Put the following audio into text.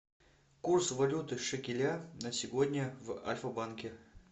курс валюты шекеля на сегодня в альфа банке